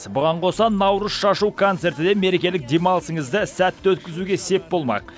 бұған қоса наурыз шашу концерті де мерекелік демалысыңызды сәтті өткізуге сеп болмақ